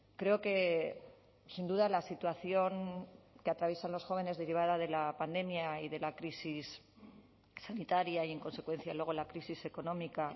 creo que sin duda la situación que atraviesan los jóvenes derivada de la pandemia y de la crisis sanitaria y en consecuencia luego la crisis económica